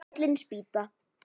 Fallin spýta